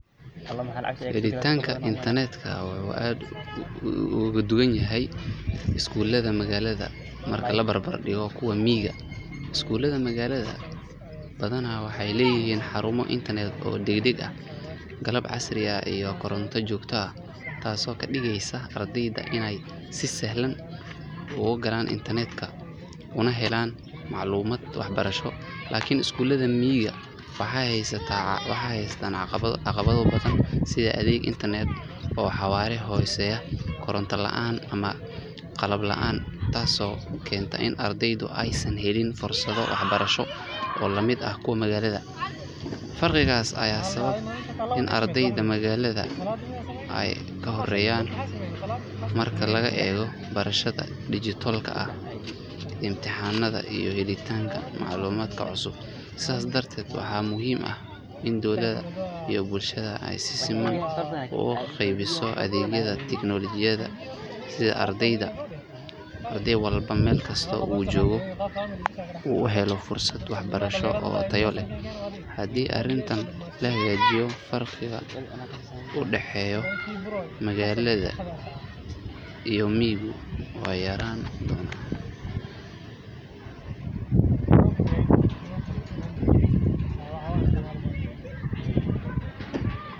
Helitaanka internet-ka wuxuu aad uga duwan yahay iskuulaadka magaalada marka la barbardhigo kuwa miyiga. Iskuulaadka magaalada badanaa waxay leeyihiin xarumo internet oo degdeg ah, qalab casri ah iyo koronto joogto ah taasoo ka dhigaysa ardayda inay si sahlan u galaan internet-ka una helaan macluumaad waxbarasho. Laakiin iskuulaadka miyiga waxaa haysata caqabado badan sida adeeg internet oo xawaare hooseeya, koronto la’aan ama qalab la’aan taasoo keenta in ardaydu aysan helin fursado waxbarasho oo lamid ah kuwa magaalada. Farqigaas ayaa sababa in ardayda magaalada ay ka horeeyaan marka laga eego barashada digital-ka ah, imtixaannada iyo helitaanka macluumaadka cusub. Sidaas darteed, waxaa muhiim ah in dowladda iyo bulshada ay si siman ugu qaybiso adeegyada tiknoolajiyadda si arday walba, meel kasta oo uu joogo, uu u helo fursad waxbarasho oo tayo leh. Haddii arrintan la hagaajiyo, farqiga u dhexeeya magaalada iyo miyiga wuu yaraan doonaa.